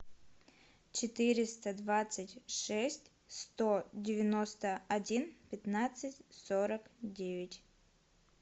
четыреста двадцать шесть сто девяносто один пятнадцать сорок девять